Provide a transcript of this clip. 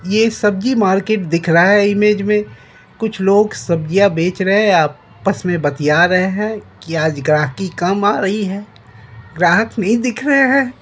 ये एक सब्जी मार्केट दिख रहा हैं इमेज मे कुछ लोग सब्जिया बेच रहे हैं आपस मे बतिया रहे हैं की आज ग्राहकी कम आ रही हैं ग्राहक नहीं दिख रहे हैं।